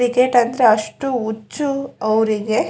Cricket ಅಂದ್ರೆ ಅಷ್ಟು ಹುಚ್ಚು ಅವರಿಗೆ.